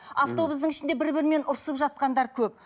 автобустың ішінде бір бірімен ұрысып жатқандар көп